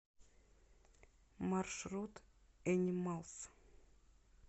маршрут энималз